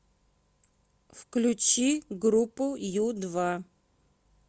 включи группу ю два